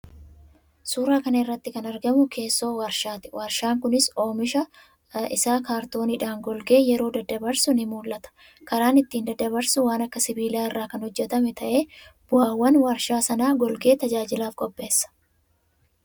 Suuraa kana irratti kan argamu keessoo warshaati. Warshaan kunis oomicha isaa kaartooniidhaan golgee yeroo daddabarsu ni mul'ata. Karaan ittiin daddabarsu waan akka sibiilaa irraa kan hojjetame ta'ee bu'aawwan warshaa sana golgee tajaajilaaf qopheessa.